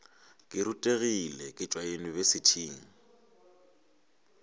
ke rutegile ke tšwa yunibesithing